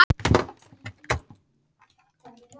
Gangi þér allt í haginn, Sandra.